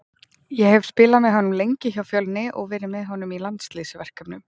Ég hef spilað með honum lengi hjá Fjölni og verið með honum í landsliðsverkefnum.